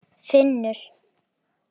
Finnur